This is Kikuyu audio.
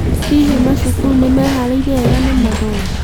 Hihi macukuru nĩmeharĩirie wega na mathomo?